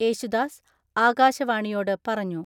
യേശുദാസ് ആകാശവാണിയോട് പറഞ്ഞു.